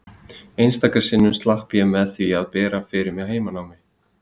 Einstaka sinnum slapp ég með því að bera fyrir mig heimanám.